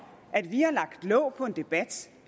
at vi har lagt låg på en debat